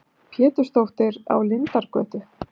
Pétursdóttur á Lindargötu.